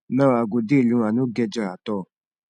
now i go dey alone i no get joy at all